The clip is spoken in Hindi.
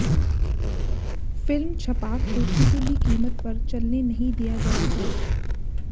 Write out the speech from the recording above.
फिल्म छपाक को किसी भी कीमत पर चलने नहीं दिया जाएगा